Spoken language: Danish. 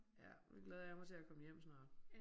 Ja nu glæder jeg mig til at komme hjem snart